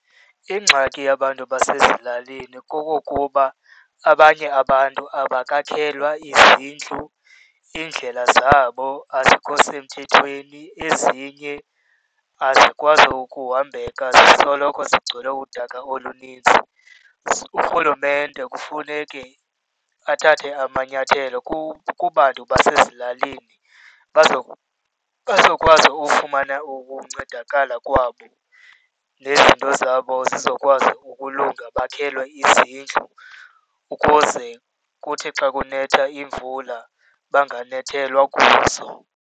Ingxaki yabantu abasezilalini kokokuba abanye abantu abakakhelwa izindlu, iindlela zabo azikho semthethweni. Ezinye asikwazi ukuhambeka, zisoloko zigcwele udaka olunintsi. Urhulumente kufuneke athathe amanyathelo kubantu basezilalini bazokwazi ufumana ukuncedakala kwabo nezinto zabo zizokwazi ukulunga bakhelwe izindlu, ukuze kuthi xa kunetha imvula banganethelwa kuzo.